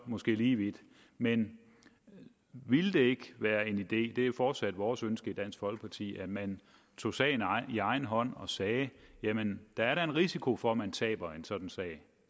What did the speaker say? måske lige vidt men ville det ikke være en idé det er fortsat vores ønske i dansk folkeparti at man tog sagen i egen hånd og sagde jamen der er da en risiko for at man taber en sådan sag